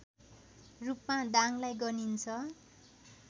रूपमा दाङलाई गनिन्छ